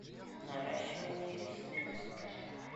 наращивание ресниц